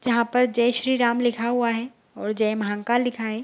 जहाँ पर जय श्री राम लिखा हुआ है और जय महाकाल लिखा है।